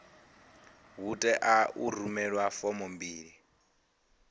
hu tea u rumelwa fomo mbili